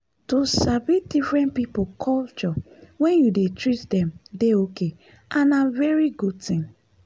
to sabi different people culture when you dey treat them dey okay and na very good thing.